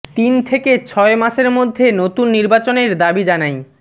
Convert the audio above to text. তিন থেকে ছয় মাসের মধ্যে নতুন নির্বাচনের দাবি জানাই